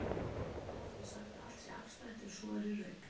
Oft er sagt að allt sé afstætt, en er svo í raun?